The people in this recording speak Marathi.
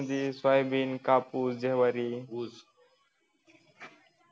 शेतीमध्ये सोयाबीन, कापूस, ज्वारी, ऊस